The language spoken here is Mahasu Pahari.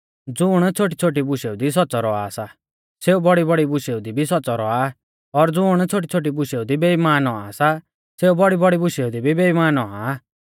ज़ुण छ़ोटीछ़ोटी बूशेऊ दी सौच़्च़ौ रौआ सा सेऊ बौड़ीबौड़ी बुशेऊ दी भी सौच़्च़ौ रौआ और ज़ुण छ़ोटीछ़ोटी बूशेऊ दी बेईमान औआ सा सेऊ बौड़ीबौड़ी बुशेऊ दी भी बेईमान औआ